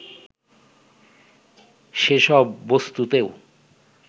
সেসব বস্তুতেও